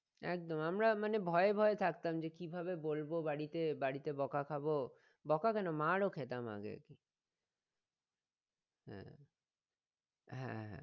একদম আমরা মানে ভয়ে ভয়ে থাকতাম যে কিভাবে বলবো বাড়িতে বাড়িতে বকা খাবো বকা কেন মার ও খেতাম আগে হ্যাঁ হ্যাঁ হ্যাঁ